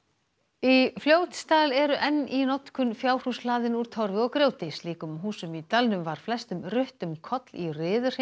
í Fljótsdal eru enn í notkun fjárhús hlaðin úr Torfi og grjóti slíkum húsum í dalnum var flestum rutt um koll í